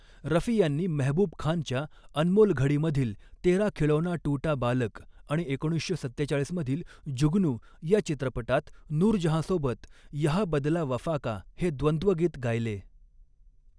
रफी यांनी मेहबूब खानच्या 'अनमोल घडी'मधील 'तेरा खिलौना टूटा बालक' आणि एकोणीसशे सत्तेचाळीस मधील 'जुगनू' या चित्रपटात, नूरजहाँसोबत 'यहाँ बदला वफा का' हे द्वंद्वगीत गायले.